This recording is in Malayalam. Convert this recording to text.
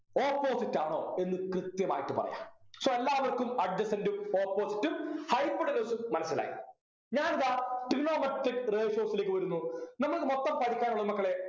opposite ആണോ എന്നു കൃത്യമായിട്ട് പറയാ so എല്ലാവർക്കും adjacent ഉം opposite ഉം hypotenuse ഉം മനസിലായി ഞാനിതാ Trigonometric ratios ലേക്ക് വരുന്നു നിങ്ങൾക്ക് മൊത്തം പഠിക്കാനുള്ളത് മക്കളെ